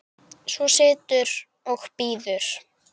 Svo situr og bíður.